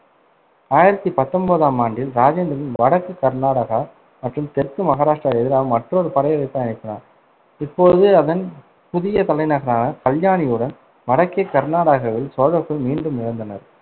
ஆயிரத்தி பத்தொன்பதாம் ஆண்டில், இராஜேந்திரன் வடக்கு கர்நாடகா மற்றும் தெற்கு மகாராஷ்டிரா எதிராக மற்றொரு படையெடுப்பை அனுப்பினார் இப்போது அதன் புதிய தலைநகரான கல்யாணியுடன், வடக்கே கர்நாடகாவில் சோழர்கள் மீண்டும் இழந்தனர்,